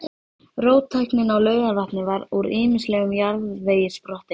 Róttæknin á Laugarvatni var úr ýmislegum jarðvegi sprottin.